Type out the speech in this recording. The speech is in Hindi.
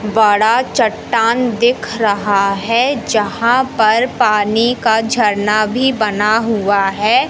बड़ा चट्टान दिख रहा है जहां पर पानी का झरना भी बना हुआ है।